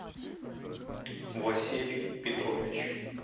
василий петрович